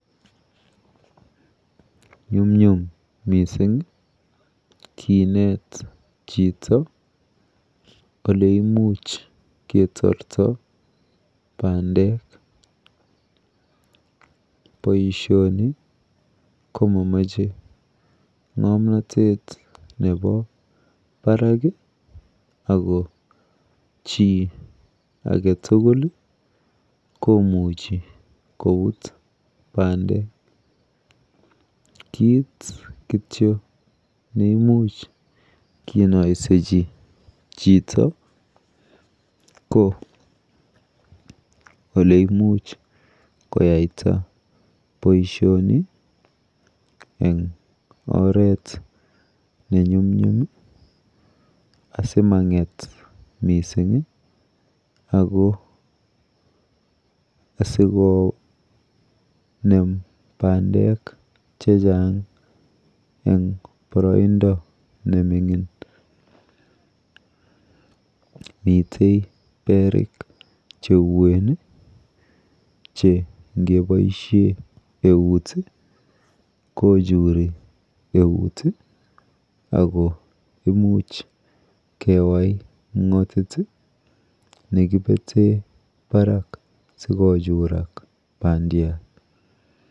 Nyumnyum mising kinet chito oleimuch ketorto bandek. Boishoni komomoche ng'omnatet nepo barak ako chi aketugul komuchi koput bandek, kit kityo neimuch kinoisechi chito ko oleimuch koyaita boishoni eng oret nenyumnyum asimang'et mising ako asikonem bandek chechang eng boroindo nemining. Mite perik cheuen che ngeboishe eut kochuri eut ako imuch kewai mg'otit nekipete barak sikochurak bandiat.